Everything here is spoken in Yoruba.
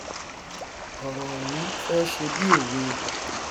ọrọ ọhún fẹ ṣe bí òwe